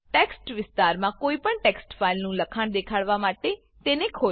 text વિસ્તારમાં કોઈપણ text ફાઈલનું લખાણ દેખાડવા માટે તેને ખોલો